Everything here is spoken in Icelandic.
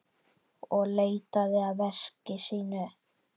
Og leitaði að veski sínu.